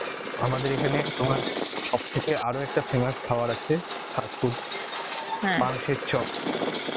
আমাদের এখানে তোমার সব থেকে আরো একটা famous খাবার আছে, fast food চপ